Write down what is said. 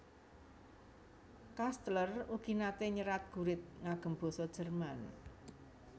Kastler ugi nate nyerat gurit ngagem basa Jerman